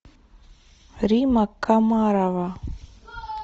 римма комарова